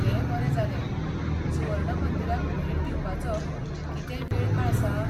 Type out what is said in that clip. तें बरें जालें. सुवर्ण मंदिराक भेट दिवपाचो कितेंय वेळकाळ आसा?